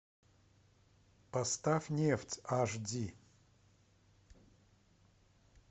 поставь нефть аш ди